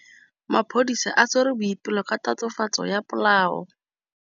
Maphodisa a tshwere Boipelo ka tatofatsô ya polaô.